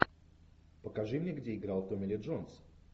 покажи мне где играл томми ли джонс